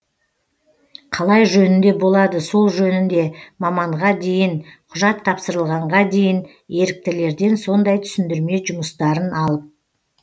қалай жөнінде болады сол жөнінде маманға дейін құжат тапсырылғанға дейін еріктілерден сондай түсіндірме жұмыстерын алып